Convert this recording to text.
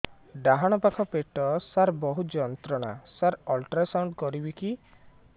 ଡାହାଣ ପାଖ ପେଟ ସାର ବହୁତ ଯନ୍ତ୍ରଣା ସାର ଅଲଟ୍ରାସାଉଣ୍ଡ କରିବି କି